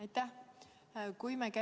Aitäh!